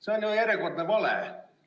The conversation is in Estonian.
See on ju järjekordne vale.